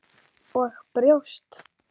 Og brjóst.